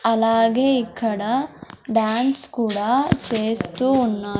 అలాగే ఇక్కడ డాన్స్ కూడా చేస్తూ ఉన్నారు.